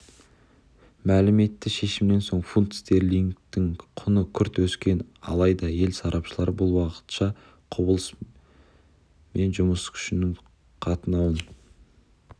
мәлім етті шешімнен соң фунт стерлингтің құны күрт өскен алайда ел сарапшылары бұл уақытша құбылыс